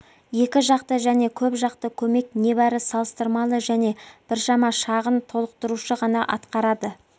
екі жақты және көп жақты көмек небәрі салыстырмалы және біршама шағын толықтырушы ғана атқарады